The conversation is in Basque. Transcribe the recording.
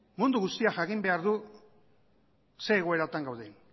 mundu guztiak jakin behar du zer egoeratan gauden